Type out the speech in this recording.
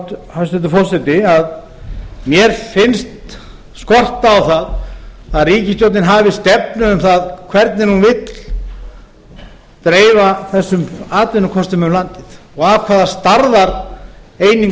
hæstvirtur forseti að mér finnst skorta á að ríkisstjórnin hafi stefnu um það hvernig hún vill dreifa þessum atvinnukostum um landið og af hvaða stærðareiningum þau eigi að